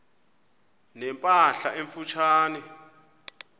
ne mpahla emfutshane